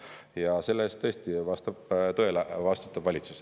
Ja selle eest tõesti, vastab tõele, vastutab valitsus.